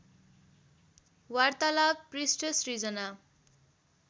वार्तालाव पृष्ठ सृजना